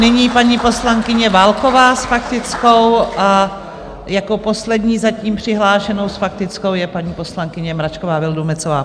Nyní paní poslankyně Válková s faktickou a jako poslední zatím přihlášenou s faktickou je paní poslankyně Mračková Vildumetzová.